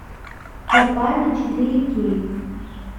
попали четыре кей